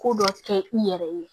Ko dɔ kɛ i yɛrɛ ye